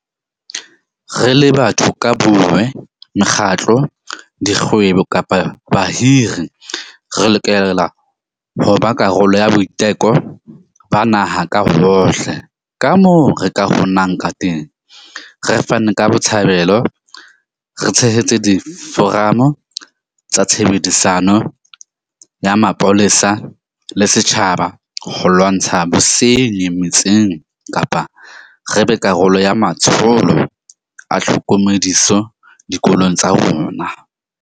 Re le batho ka bonngwe, mekgatlo, dikgwebo kapa bahiri, re lokela ho ba karolo ya boiteko ba naha ka hohle kamoo re ka kgonang kateng, re fane ka botshabelo, re tshehetse diforamo tsa tshebedisano ya mapolesa le setjhaba ho lwantsha bosenyi metseng kapa re be karolo ya matsholo a tlhokomediso dikolong tsa rona.